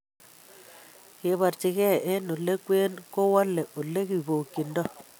Keborchingee en ole kwen, kowole ole kibokyindoo